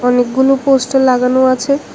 অনেকগুলো পোস্টার লাগানো আছে।